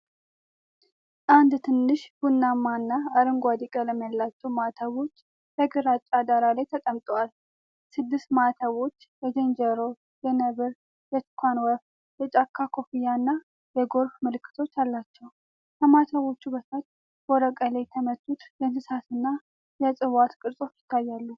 አንድ ትንሽ ቡናማና አረንጓዴ ቀለም ያላቸው ማህተሞች በግራጫ ዳራ ላይ ተቀምጠዋል። ስድስት ማህተሞች የዝንጀሮ፣ የነብር፣ የቱካን ወፍ፣ የጫካ ኮፍያ፣ ና የጎርፍ ምልክቶች አላቸው፣ ከማህተሞቹ በታች በወረቀት ላይ የተመቱት የእንስሳትና የእጽዋት ቅርጾች ይታያሉ።